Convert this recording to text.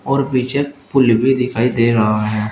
और पीछे पूल भी दिखाई दे रहा है।